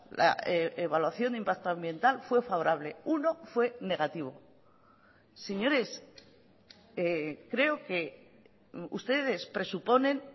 la evaluación de impacto ambiental fue favorable uno fue negativo señores creo que ustedes presuponen